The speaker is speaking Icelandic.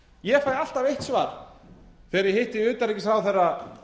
ég fæ alltaf eitt svar þegar ég hitti utanríkisráðherra